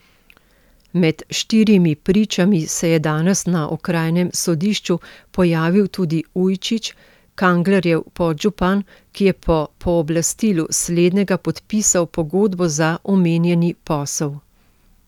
Med štirimi pričami se je danes na okrajnem sodišču pojavil tudi Ujčič, Kanglerjev podžupan, ki je po pooblastilu slednjega podpisal pogodbo za omenjeni posel.